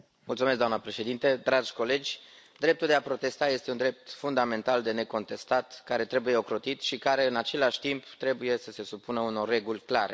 Doamnă președintă, dragi colegi, dreptul de a protesta este un drept fundamental, de necontestat care trebuie ocrotit și care, în același timp, trebuie să se supună unor reguli clare.